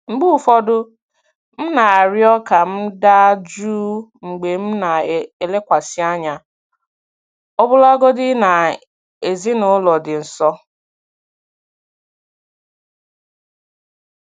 Mgbe ụfọdụ, m na-arịọ ka m daa jụụ mgbe m na-elekwasị anya, ọbụlagodi na ezinaụlọ dị nso.